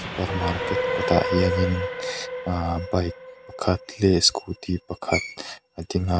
super market kawtah hianin ahh bike pakhat leh scooty pakhat a ding a.